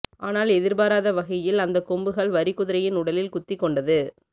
ஆனால் எதிர்பாராத வகையில் அந்த கொம்புகள் வரிக்குதிரையின் உடலில் குத்தி கொண்டது